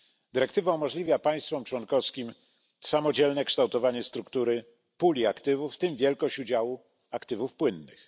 Dyrektywa umożliwia państwom członkowskim samodzielne kształtowanie struktury puli aktywów, w tym wielkość udziałów aktywów płynnych.